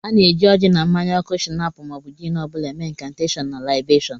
A na-eji oji na mmanya oku shinap ma ọ bụ jin ọ bụla eme inkanteshon na laibeshun.